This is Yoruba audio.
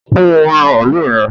Fún omú maalu yẹn